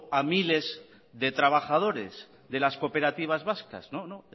a miles de trabajadores de las cooperativas vascas no